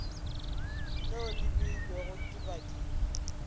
leo le beilwego ke badimo